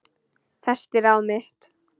Festi ráð mitt